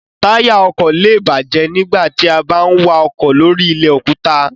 Táyà ọkọ̀ lé è bàjẹ́ nígbà tí a bá ń wa ọkọ̀ lóri ilẹ̀ òkúta